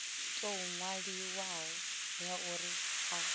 tou ṅwaliwaho ya uri a